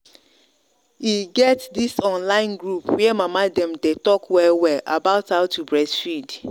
e get this online group where mama dem day talk well well about how to breastfeed